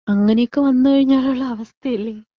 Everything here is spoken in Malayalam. അങ്ങനെയൊക്കെ വന്ന് കഴിഞ്ഞാലുള്ള അവസ്ഥലെ?